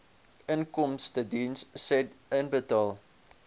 inkomstediens said inbetaal